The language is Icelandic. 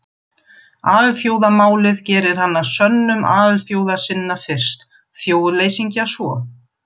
Alþjóðamálið gerir hann að sönnum alþjóðasinna fyrst, þjóðleysingja svo.